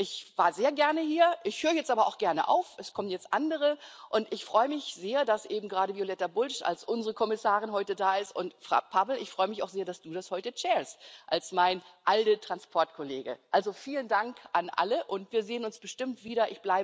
Ich war sehr gerne hier, ich höre jetzt aber auch gerne auf. Es kommen jetzt andere, und ich freue mich sehr, dass eben gerade Violeta Bulc als unsere Kommissarin heute da ist, und Pavel, ich freue mich auch sehr, dass du als mein ALDE Transport Kollege heute den Vorsitz hast. Also vielen Dank an alle, und wir sehen uns bestimmt wieder.